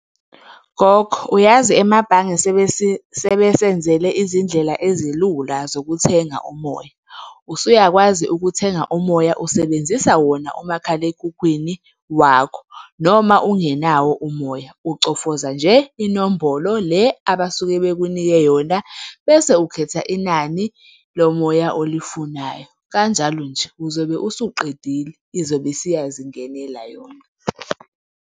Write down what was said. Gogo, uyazi emabhange sebesenzele izindlela ezilula zokuthenga umoya. Usuyakwazi ukuthenga umoya, usebenzisa wona umakhalekhukhwini wakho, noma ungenawo umoya. Ucofoza nje inombolo le abasuke bekunike yona bese ukhetha inani lomoya olifunayo. Kanjalo nje uzobe usuqedile, izobe isiyazingenela yona.